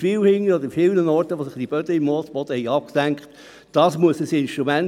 Zu Hauptziel B, Verkehrs- und Siedlungsentwicklung aufeinander abstimmen: Seite 21, RPB 2018